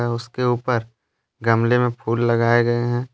उसके ऊपर गमले में फूल लगाए गए हैं।